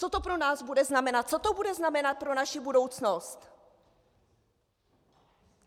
Co to pro nás bude znamenat, co to bude znamenat pro naši budoucnost?